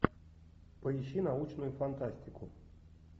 поищи научную фантастику